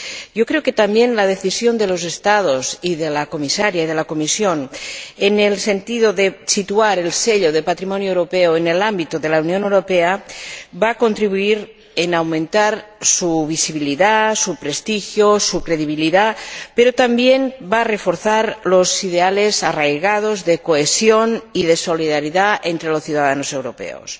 Yo creo también que la decisión de los Estados y de la Comisaria y de la Comisión, en el sentido de situar el Sello de Patrimonio Europeo en el ámbito de la Unión Europea, va a contribuir a aumentar su visibilidad, su prestigio, su credibilidad, pero también va a reforzar los ideales arraigados de cohesión y de solidaridad entre los ciudadanos europeos.